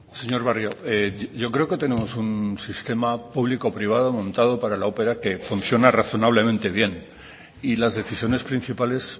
señor barrio yo creo que tenemos un sistema público privado montado para la opera que funciona razonablemente bien y las decisiones principales